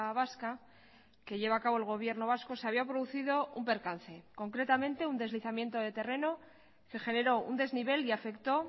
vasca que lleva a cabo el gobierno vasco se había producido un percance concretamente un deslizamiento de terreno que generó un desnivel y afectó